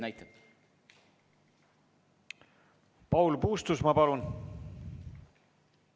Nii et pigem on seal sellised näited.